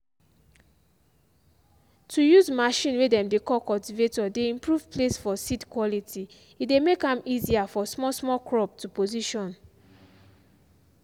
to use machine way dem dey call cultivator dey improve place for seed quality e dey make am easier for small small crop to position.